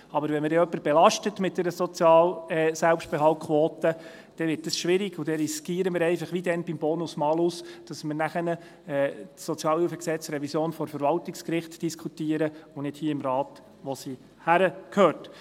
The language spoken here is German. Aber wenn man dann jemanden mit einer Selbstbehaltquote belastet, dann wird es schwierig, und dann riskieren wir einfach – wie damals beim Bonus-Malus –, dass wir die SHG-Revision nachher vor dem Verwaltungsgericht diskutieren und nicht hier im Rat, wo sie hingehört.